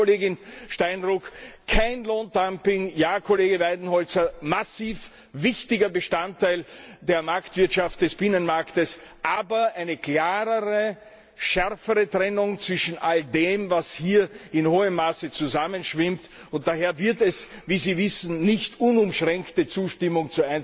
Ja, Kollegin Steinruck, kein Lohndumping, Ja, Kollege Weidenholzer, massiv wichtiger Bestandteil der Marktwirtschaft des Binnenmarktes, aber eine klarere, schärfere Trennung zwischen all dem, was hier in hohem Maße verschwimmt, und daher wird es zu einzelnen Punkten nicht uneingeschränkte Zustimmung